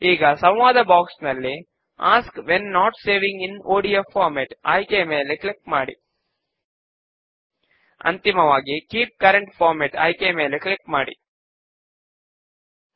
ఇక్కడ ఆప్షన్స్ ఎలా ఉంటే వాటిని అలాగే వదలి వేసి నెక్స్ట్ పైన క్లిక్ చేస్తాము